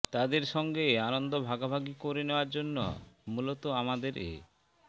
তাদের সঙ্গে আনন্দ ভাগাভাগি করে নেওয়ার জন্য মূলত আমাদের এ